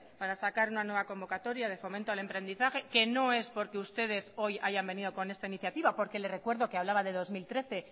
para sacar una nueva convocatoria de fomento al emprendizaje que no es porque ustedes hoy hayan venido con esta iniciativa porque le recuerdo que hablaba de dos mil trece